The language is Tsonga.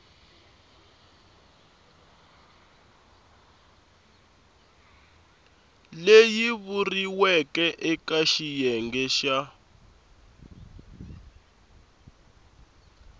leyi vuriweke eka xiyenge xa